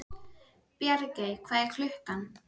Bjargey, hvað er klukkan?